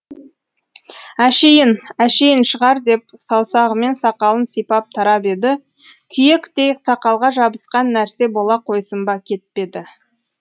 әшейін әшейін шығар деп саусағымен сақалын сипап тарап еді күйектей сақалға жабысқан нәрсе бола қойсын ба кетпеді